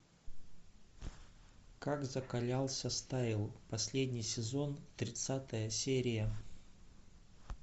как закалялся стайл последний сезон тридцатая серия